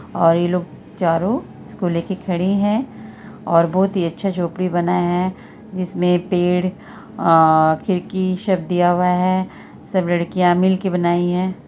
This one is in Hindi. और ई लोग चारो इसको लेके खड़े हैं और बहुत ही अच्छा झोपड़ी बना है जिसमे पेड़ और खिड़की सब दिया हुआ है| सब लड़कियां मिलके बनाई है।